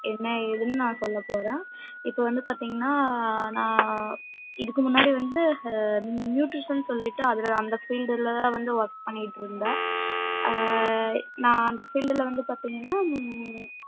என்ன எதுனு நா சொல்ல போறேன் இப்ப வந்து பாத்திங்கன நா இதுக்கு முன்னாடி வந்து nutrition னு சொல்லிட்டு அதுல அந்த field ல தான் வந்து work பண்ணிட்டு இருந்தன் நா அந்த field வந்து பாத்திங்கனா